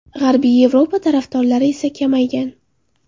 G‘arbiy Yevropa tarafdorlari esa kamaygan.